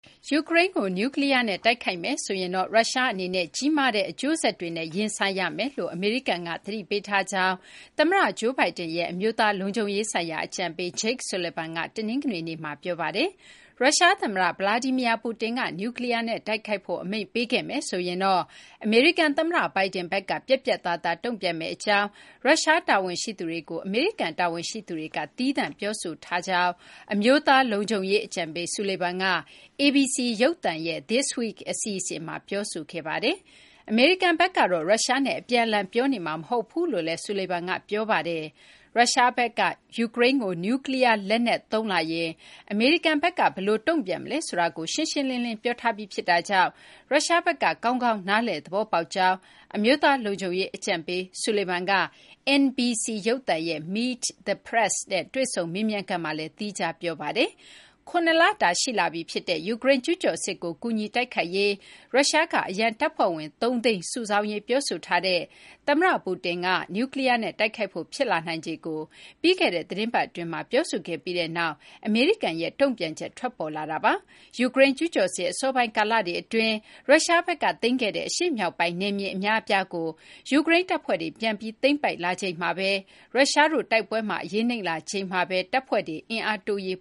ယူကရိန်းကို နျူးကလီးယားနဲ့ တိုက်ခိုက်မယ်ဆိုရင်တော့ ရုရှား အနေနဲ့ ကြီးမားတဲ့ အကျိုးဆက်တွေနဲ့ ရင်ဆိုင်ရမယ်လို့ အမေရိကန်က သတိပေးထားကြောင်း သမ္မတ Joe Biden ရဲ့ အမျိုးသားလုံခြုံရေးဆိုင်ရာ အကြံပေး Jake Sullivan က တနင်္ဂနွေနေ့မှာ ပြောပါတယ်။ ရုရှား သမ္မတ Vladimir Putin က နျူးကလီးယား နဲ့ တိုက်ခိုက်ဖို့ အမိန့်ပေးခဲ့မယ်ဆိုရင်တော့ အမေရိကန် သမ္မတ Biden ဘက်က ပြတ်ပြတ်သားသား တုံ့ပြန်မယ့် အကြောင်း ရုရှား တာဝန်ရှိသူတွေကို အမေရိကန် တာဝန်ရှိသူတွေက သီးသန့် ပြောဆိုထားကြောင်း အမျိုးသား လုံခြုံရေး အကြံပေး Sullivan က ABC ရုပ်သံရဲ့ This Week အစီအစဉ်မှာ ပြောဆိုခဲ့တာ ဖြစ်ပါတယ်။ အမေရိကန်ဘက်ကတော့ ရုရှားနဲ့ အပြန်အလှန် ပြောနေမှာ မဟုတ်ကြောင်းလည်း Sullivan က ပြောပါတယ်။ ရုရှားဘက်က ယူကရိန်းကို နျူးကလီးယား လက်နက်သုံးလာရင် အမေရိကန်ဘက်က ဘယ်လို တုံ့ပြန်မလဲ ဆိုတာကို ရှင်းရှင်းလင်းလင်း ပြောထားပြီး ဖြစ်တာကြောင့် ရုရှားဘက်က ကောင်းကောင်း နားလည်သဘောပေါက်ကြောင်း အမျိုးသား လုံံခြုံရေး အကြံပေး Sullivan က NBC ရုပ်သံရဲ့ Meet the Press နဲ့ တွေ့ဆုံ မေးမြန်းခန်းမှာလည်း သီးခြား ပြောဆိုထားပါတယ်။ ၇ လတာ ရှိလာပြီ ဖြစ်တဲ့ ယူကရိန်း ကျူးကျော်စစ်ကို ကူညီ တိုက်ခိုက်ရေး အတွက် ရုရှားက အရန်တပ်ဖွဲ့ဝင် ၃၀၀,၀၀၀ စုဆောင်းရေး ပြောဆိုထားတဲ့ ရုရှား သမ္မတ Putin က နျူးကလီးယားနဲ့ တိုက်ခိုက်ဖို့ ဖြစ်လာနိုင်ခြေကို ပြီးခဲ့တဲ့ သတင်းပတ် အတွင်းမှာ ပြောဆိုခဲ့ပြီးနောက်မှာ အမေရိကန်ရဲ့ တုံ့ပြန်ချက် ထွက်ပေါ်လာတာ ဖြစ်ပါတယ်။ ယူကရိန်း ကျူးကျော်စစ် အစောပိုင်း ကာလတွေ အတွင်း ရုရှားဘက်က သိမ်းခဲ့တဲ့ အရှေ့မြောက်ပိုင်းက နယ်မြေ အများအပြားကို ယူကရိန်းတပ်ဖွဲ့တွေက ပြန်လည် သိမ်းပိုက်လာခဲ့ပြီးနောက် ရုရှားတို့ တိုက်ပွဲမှာ အရေးနိမ့်လာချိန်မှာဘဲ တပ်ဖွဲ့တွေ အင်အားတိုးရေး